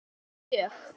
Já mjög